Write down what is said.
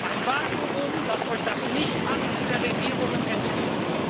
Ein Vakuum, das durch das Nichthandeln der Regierungen entsteht.